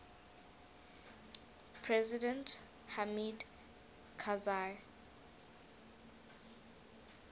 president hamid karzai